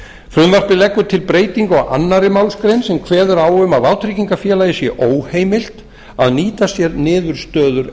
frumvarpið leggur til breytingu á annarri málsgrein sem kveður á um að vátryggingafélag sé óheimilt að nýta sér niðurstöður